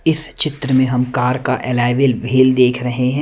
इस चित्र में हम कार का एलॉय व्हील भी देख रहे हैं।